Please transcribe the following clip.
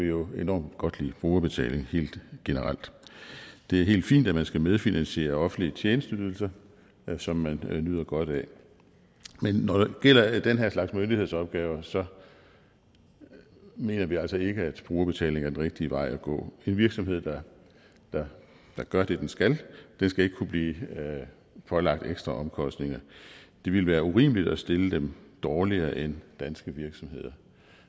jo enormt godt kan lide brugerbetaling helt generelt det er helt fint at man skal medfinansiere offentlige tjenesteydelser som man nyder godt af men når det gælder den her slags myndighedsopgaver mener vi altså ikke at brugerbetaling er den rigtige vej at gå en virksomhed der gør det den skal skal ikke kunne blive pålagt ekstra omkostninger det ville være urimeligt at stille dem dårligere end danske virksomheder